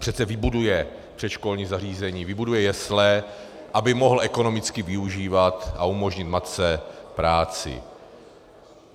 Přece vybuduje předškolní zařízení, vybuduje jesle, aby mohl ekonomicky využívat a umožnit matce práci.